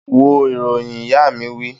Wo ìròyìn! Ìyá mi wí